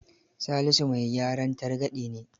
Salisu mai gyaran targaɗe ne.